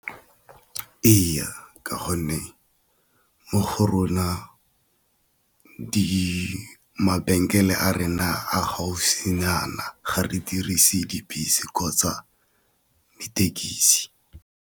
Ee, ka gonne mo go rona di mabenkele a rena a gaufinyana ga re dirise dibese kgotsa dithekisi.